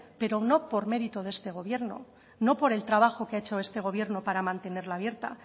pero no por mérito de este gobierno no por el trabajo que ha hecho este gobierno para mantenerla abierta